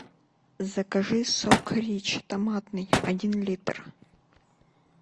закажи сок рич томатный один литр